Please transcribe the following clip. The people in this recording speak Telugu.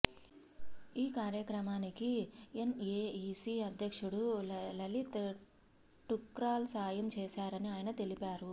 ఈ కార్యక్రమానికి ఎన్ఏఈసీ అధ్యక్షుడు లలిత్ ఠుక్రాల్ సాయం చేశారని ఆయన తెలిపారు